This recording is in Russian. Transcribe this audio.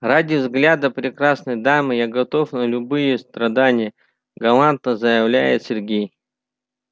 ради взгляда прекрасной дамы я готов на любые страдания галантно заявляет сергей